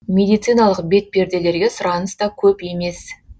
медициналық бетперделерге сұраныс та көп емес